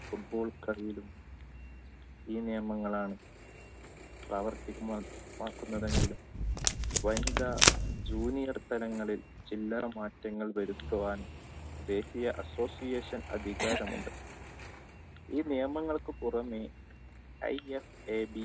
football കളിയിലും ഈ നിയമങ്ങളാണ് പ്രവർത്തികമാകുന്നതെങ്കിലും വനിതാ junior താരങ്ങളിൽ ചില്ലറ മാറ്റങ്ങൾ വരുത്തുവാൻ